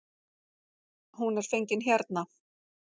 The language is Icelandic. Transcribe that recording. Hún er fengin hérna.